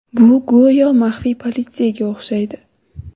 Bu go‘yo maxfiy politsiyaga o‘xshaydi.